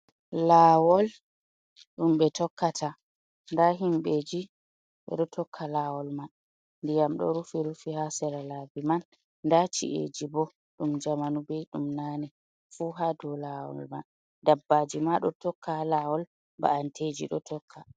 Lawol ɗum ɓe tokkata nda himbeji ɗo tokka lawol man ndiyam ɗo rufi rufi ha sera laabi man nda ci’eji bo ɗum zamanu bei ɗum nane fu hado laɓoll dabbaji ma ɗo tokka lawol ba’anteji do tokka.